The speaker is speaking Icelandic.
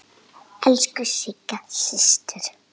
Elsku Sigga systir.